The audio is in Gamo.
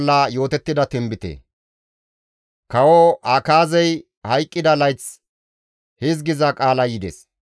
Kawo Akaazey hayqqida layth hizgiza qaalay yides;